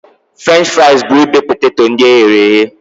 French fraịz bụ ibe poteto ndị eghere eghe.